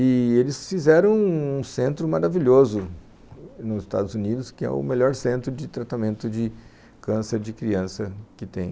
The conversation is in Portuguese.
E eles fizeram um centro maravilhoso nos Estados Unidos, que é o melhor centro de tratamento de câncer de criança que tem.